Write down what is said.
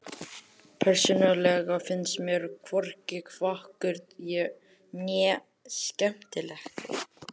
Persónulega finnst mér hvorki fagurt né skemmtilegt.